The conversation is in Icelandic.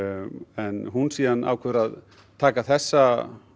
en hún síðan ákveður að taka þessa